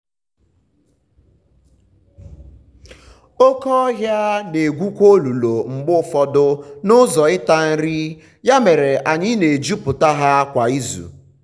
oke ọhịa na-egwukwa olulu mgbe ụfọdụ n’ụzọ ịta nri ya mere anyị na-ejupụta ha kwa izu.